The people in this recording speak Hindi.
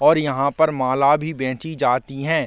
और यहाँ पे माला भी बेचीं जाती हे।